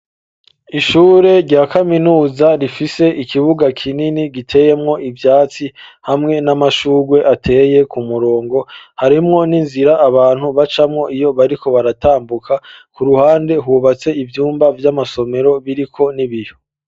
Ishure rya kaminuza rifise ikibuga kinini giteyemwo ivyatsi hamwe n'amashugwe ateye ku murongo ,harimwo n'inzira abantu bacamwo iyo bariko baratambuka ,ku ruhande hubatse ivyumba vy'amasomero biriko n'ibiyo.